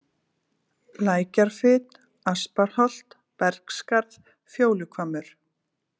Lækjarfit, Asparholt, Bergsskarð, Fjóluhvammur